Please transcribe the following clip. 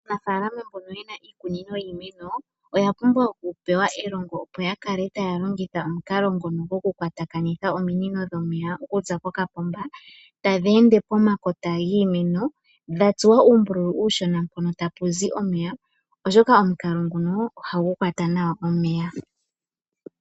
Aanafaalama mbono ye na iikunino yiimeno oya pumbwa okupewa elongo, opo ya kale taya longitha omukalo ngono gokukwatakanitha ominino dhomeya okuza kokapomba tadhi ende pomakota giimeno dha tsuwa uumbululu uushona mpono tapu zi omeya, oshoka omukalo ngunoo ohagu kwata nawa omeya.